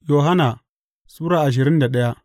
Yohanna Sura ashirin da daya